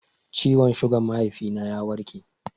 Ciwon sugan mahaifi na ya warke